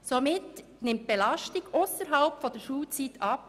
Somit nimmt die Belastung ausserhalb der Schulzeit ab.